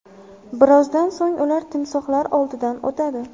Birozdan so‘ng ular timsohlar oldidan o‘tadi.